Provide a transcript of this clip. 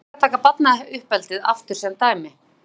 Gott er að taka barnauppeldið aftur sem dæmi.